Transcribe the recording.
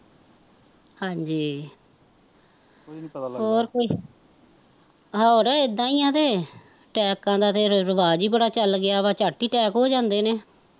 ਹਾਂਜੀ ਹੋਰ ਕੋਈ ਹੋਰ ਇੱਦਾਂ ਈ ਤੇ ਟੈਕਾ ਦਾ ਤੇ ਰਿਵਾਜ ਈ ਬੜਾ ਚੱਲ ਪਿਆ ਚੱਟ ਹੀਂ ਟੈਕ ਹੋ ਜਾਂਦੇ ਨੇ